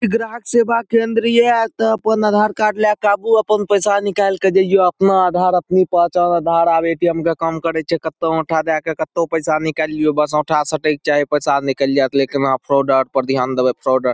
ई ग्राहक सेवा केंद्र ये अपन आधार कार्ड ला के आबू अपन पैसा निकाल के जईओ। अपना आधार अपनी पहचान। आधार अब ए.टी.एम्. के काम करइ छे। कतो हम उठावे आके कत्तो पैसा निकालीयो। बस हथा सटे के चाहीं पैसा निकल जाएत। लेकिन वहाँ फ्रॉडा पर ध्यान देही फ्रॉड --